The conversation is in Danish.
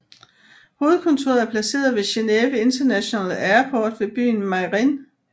Hovedkontoret er placeret ved Geneve International Airport ved byen Meyrin